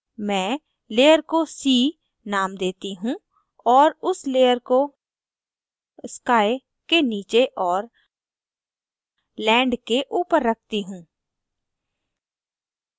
मैं layer को sea name देती हूँ और उस layer को sky के नीचे और land के ऊपर रखती हूँ